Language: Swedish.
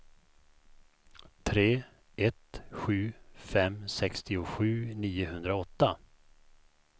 tre ett sju fem sextiosju niohundraåtta